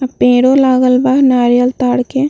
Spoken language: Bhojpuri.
पेड़ो लागल बा नारियल ताड़ के।